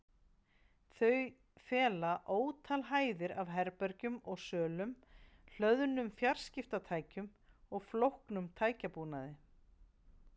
Þau fela ótal hæðir af herbergjum og sölum, hlöðnum fjarskiptatækjum og flóknum tækjabúnaði.